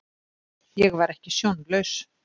Ég var ekki sjónlaus.